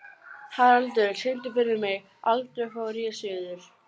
Haraldur, syngdu fyrir mig „Aldrei fór ég suður“.